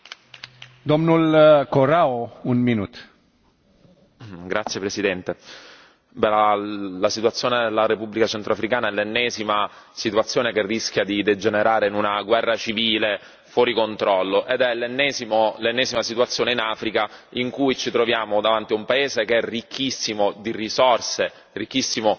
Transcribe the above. Signor Presidente, onorevoli colleghi, la situazione della Repubblica centrafricana è l'ennesima situazione che rischia di degenerare in una guerra civile, fuori controllo, ed è l'ennesima situazione in Africa in cui ci troviamo davanti ad un paese che è ricchissimo di risorse, ricchissimo di possibilità